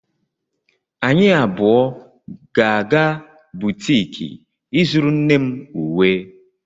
Anyị abụọ ga-aga butiki ịzụrụ nne m uwe